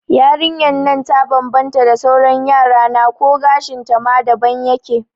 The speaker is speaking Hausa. Yarinyan nan ta bambanta da sauran Yarana ko gashin ta ma daban yake